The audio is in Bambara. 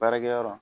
Baarakɛyɔrɔ